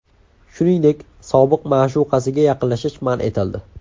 Shuningdek, sobiq ma’shuqasiga yaqinlashish man etildi.